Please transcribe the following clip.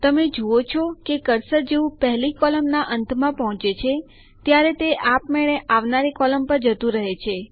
તમે જુઓ છો કે કર્સર જેવું પહેલી કોલમનાં અંતમાં પહુચે છે ત્યારે તે આપમેળે આવનારી કોલમ પર જતું રહે છે